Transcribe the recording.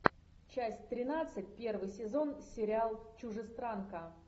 часть тринадцать первый сезон сериал чужестранка